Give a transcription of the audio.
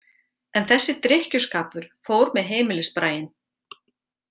En þessi drykkjuskapur fór með heimilisbraginn.